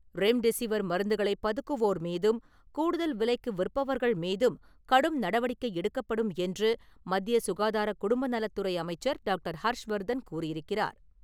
Remdesivir மருந்துகளை பதுக்குவோர் மீதும், கூடுதல் விலைக்கு விற்பவர்கள் மீதும் கடும் நடவடிக்கை எடுக்கப்படும் என்று, மத்திய சுகாதார குடும்ப நலத்துறை அமைச்சர் டாக்டர். ஹர்ஷ்வர்தன் கூறியிருக்கிறார்.